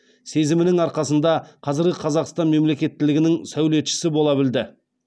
сезімінің арқасында қазіргі қазақстан мемлекеттілігінің сәулетшісі бола білді